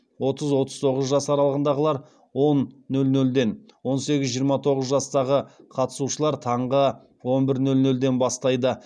отыз отыз тоғыз жас аралығындағылар он нөл нөлден он сегіз жиырма тоғыз жастағы қатысушылар таңғы он бір нөл нөлден бастайды